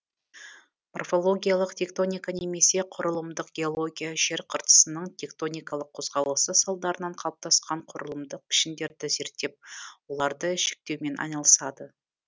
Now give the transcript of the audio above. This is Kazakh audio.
морфологиялық тектоника немесе құрылымдық геология жер қыртысының тектоникалық қозғалысы салдарынан қалыптасқан құрылымдық пішіндерді зерттеп оларды жіктеумен айналысады